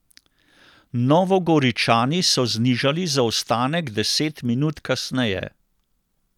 Novogoričani so znižali zaostanek deset minut kasneje.